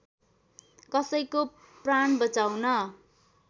कसैको प्राण बचाउन